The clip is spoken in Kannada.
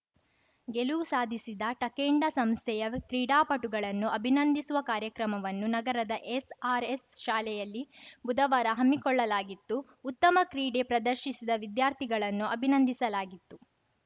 ಗೆಲುವು ಸಾಧಿಸಿದ ಟಕೇಂಡ ಸಂಸ್ಥೆಯ ಕ್ರೀಡಾಪಟುಗಳನ್ನು ಅಭಿನಂದಿಸುವ ಕಾರ್ಯಕ್ರಮವನ್ನು ನಗರದ ಎಸ್‌ಆರ್‌ಎಸ್‌ ಶಾಲೆಯಲ್ಲಿ ಬುಧವಾರ ಹಮ್ಮಿಕೊಳ್ಳಲಾಗಿತ್ತು ಉತ್ತಮ ಕ್ರೀಡೆ ಪ್ರದರ್ಶಿಸಿದ ವಿದ್ಯಾರ್ಥಿಗಳನ್ನು ಅಭಿನಂದಿಸಲಾಗಿತ್ತು